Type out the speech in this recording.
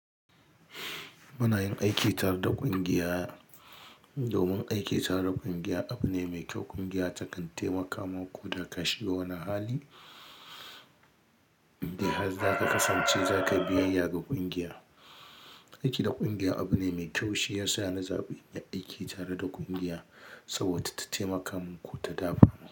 Muna yin aiki tare da kungiya domin aiki tare da kungiya abu ne mai kyau. Kungiya takan taimaka maku, da ka shiga wani hali in dai har zaka kasance zakayi biyayya ga kungiya. Aiki da kungiya abu ne mai kyau, shi ya sa na zaɓi aiki tare da kungiya saboda ta taimaka min ko ta dafa min.